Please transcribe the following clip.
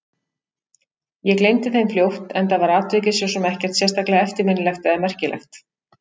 Ég gleymdi þeim fljótt, enda var atvikið svo sem ekkert sérstaklega eftirminnilegt eða merkilegt.